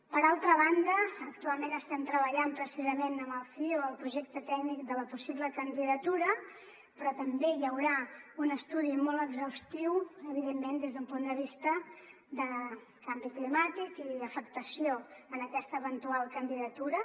per altra banda actualment estem treballant precisament amb el cio el projecte tècnic de la possible candidatura però també hi haurà un estudi molt exhaustiu evidentment des d’un punt de vista de canvi climàtic i afectació en aquesta eventual candidatura